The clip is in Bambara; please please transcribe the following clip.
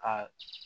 Aa